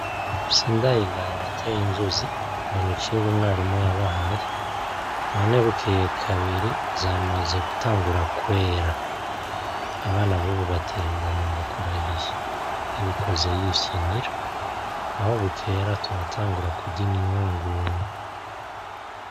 Sindayigaya yateye inzuzi ngo n'icigwa umwarimu yabahaye none bukeye kabiri zamaze gutangura kwera, abana bubu bateye igomwe ndakurahiye yabikoze yifyinira aho bukera turatangura kurya imyungu.